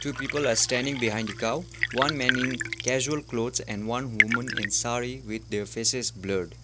people are standing behind the cow one man in casual clothes and one woman in saree with their faces blurred.